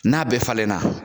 N'a bɛɛ falen na